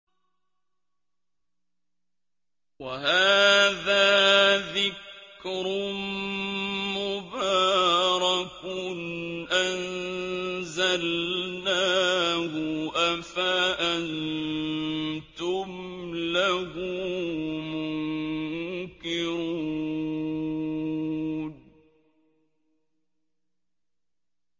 وَهَٰذَا ذِكْرٌ مُّبَارَكٌ أَنزَلْنَاهُ ۚ أَفَأَنتُمْ لَهُ مُنكِرُونَ